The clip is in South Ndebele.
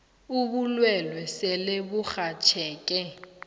ubulwelwe sele burhatjheke